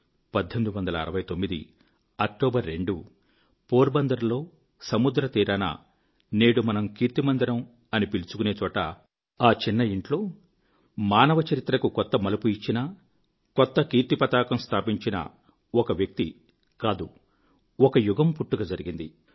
2 October 1869 Porbandar లో సముద్రతీరాన నేడు మనం కీర్తిమందిరం అని పిలుచుకునే చోట ఆ చిన్న యింట్లో మానవ చరిత్రకు కొత్త మలుపు ఇచ్చినటువంటి కొత్త కీర్తిపతాకం స్థాపించినటువంటి ఒక వ్యక్తి కాదు ఒక యుగం పుట్టుక జరిగింది